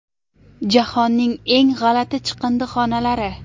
Jahonning eng g‘alati chiqindixonalari .